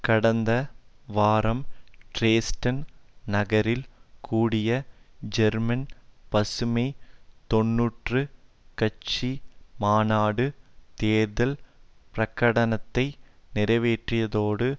கடந்த வாரம் டிரேஸ்டன் நகரில் கூடிய ஜெர்மன் பசுமை தொன்னூறு கட்சி மாநாடு தேர்தல் பிரகடனத்தை நிறைவேற்றியதோடு